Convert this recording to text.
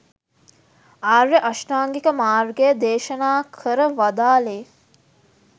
ආර්ය අෂ්ටාංගික මාර්ගය දේශනා කර වදාළේ